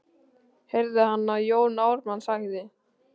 heyrði hann að Jón Ármann sagði.